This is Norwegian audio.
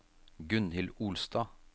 Gunnhild Olstad